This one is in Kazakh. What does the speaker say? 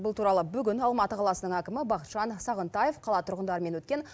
бұл туралы бүгін алматы қаласының әкімі бақытжан сағынтаев қала тұрғындарымен өткен